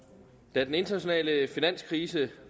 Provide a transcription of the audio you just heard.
da den internationale finanskrise